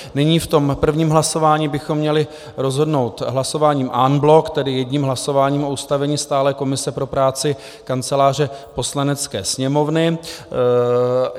Nyní v tom prvním hlasování bychom měli rozhodnout hlasováním en bloc, tedy jedním hlasováním o ustavení stálé komise pro práci Kanceláře Poslanecké sněmovny.